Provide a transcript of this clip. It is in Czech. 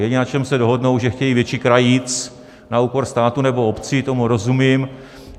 Jediné, na čem se dohodnou, že chtějí větší krajíc na úkor státu nebo obcí, tomu rozumím.